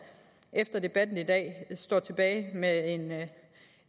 efter debatten i dag står tilbage med